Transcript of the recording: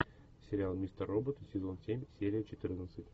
сериал мистер робот сезон семь серия четырнадцать